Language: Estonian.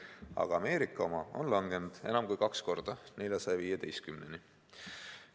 Aga Ameerika oma on langenud enam kui kaks korda, 415-ni.